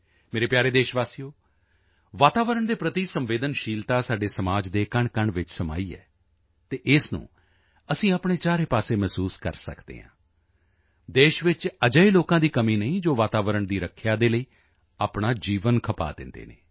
ਮੇਰੇ ਪਿਆਰੇ ਦੇਸ਼ਵਾਸੀਓ ਵਾਤਾਵਰਣ ਦੇ ਪ੍ਰਤੀ ਸੰਵੇਦਨਸ਼ੀਲਤਾ ਸਾਡੇ ਸਮਾਜ ਦੇ ਕਣਕਣ ਵਿੱਚ ਸਮਾਈ ਹੈ ਅਤੇ ਇਸ ਨੂੰ ਅਸੀਂ ਆਪਣੇ ਚਾਰੇ ਪਾਸੇ ਮਹਿਸੂਸ ਕਰ ਸਕਦੇ ਹਾਂ ਦੇਸ਼ ਵਿੱਚ ਅਜਿਹੇ ਲੋਕਾਂ ਦੀ ਕਮੀ ਨਹੀਂ ਜੋ ਵਾਤਾਵਰਣ ਦੀ ਰੱਖਿਆ ਦੇ ਲਈ ਆਪਣਾ ਜੀਵਨ ਖਪਾ ਦਿੰਦੇ ਹਨ